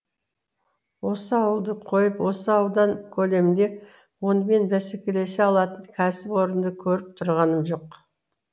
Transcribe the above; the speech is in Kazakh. осы ауылды қойып осы аудан көлемінде онымен бәсекелесе алатын кәсіп орынды көріп тұрғаным жоқ